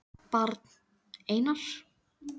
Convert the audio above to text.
Barn: Einar.